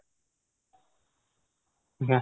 ନା